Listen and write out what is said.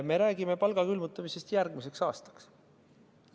Me räägime palga külmutamisest järgmiseks aastaks.